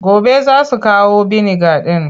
Gobe za su kawo biniga ɗin.